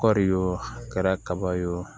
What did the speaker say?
Kɔɔri ye wo a kɛra kaba ye o